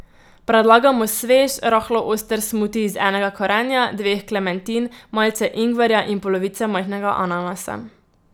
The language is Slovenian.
Predlagamo svež, rahlo oster smuti iz enega korenja, dveh klementin, malce ingverja in polovice majhnega ananasa.